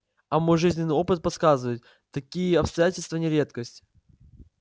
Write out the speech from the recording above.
а мой жизненный опыт подсказывает такие обстоятельства не редкость